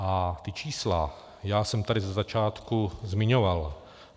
A ta čísla já jsem tady ze začátku zmiňoval.